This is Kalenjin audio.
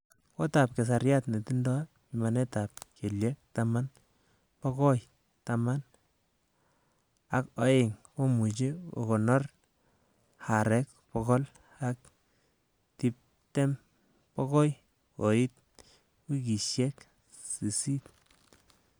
Gotab keserait netindo pimanetab kelyek taman bokoi taman ak o'eng komuche kokonor aarek bogol ak tibtem bokoi koit wikisiek sisit.